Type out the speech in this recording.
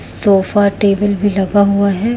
Sofa table भी लगा हुआ है।